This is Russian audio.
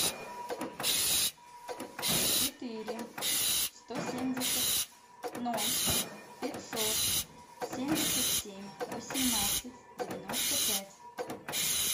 четыре сто семьдесят ноль пятьсот семьдесят семь восемнадцать девяносто пять